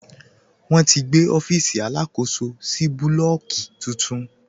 Wọn ti gbé ọfiisi alákòsó sì búlọ́ọ̀kì tuntun.